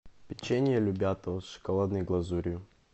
печенье любятово с шоколадной глазурью